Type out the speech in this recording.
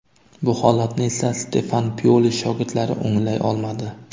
Bu holatni esa Stefan Pioli shogirdlari o‘nglay olmadi.